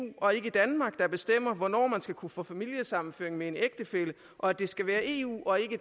og ikke danmark der bestemmer hvornår man skal kunne få familiesammenføring med en ægtefælle og at det skal være eu og ikke